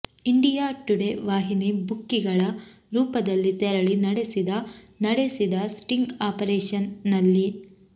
India Today ವಾಹಿನಿ ಬುಕ್ಕಿಗಳ ರೂಪದಲ್ಲಿ ತೆರಳಿ ನಡೆಸಿದ ನಡೆಸಿದ ಸ್ಟಿಂಗ್ ಆಪರೇಷನ್ ನಲ್ಲಿ